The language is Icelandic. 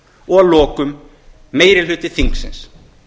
og að lokum meiri hluti þingsins